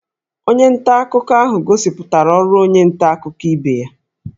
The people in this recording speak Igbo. Onye nta akụkọ ahụ gosipụtara ọrụ onye nta akụkọ ibe ya